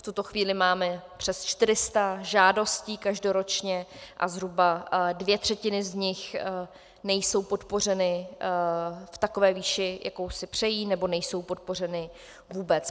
V tuto chvíli máme přes 400 žádostí každoročně a zhruba dvě třetiny z nich nejsou podpořeny v takové výši, jakou si přejí, nebo nejsou podpořeny vůbec.